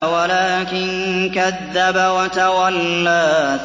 وَلَٰكِن كَذَّبَ وَتَوَلَّىٰ